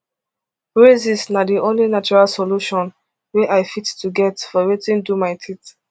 braces na di only natural solution wey i fit to get for wetin do my teeth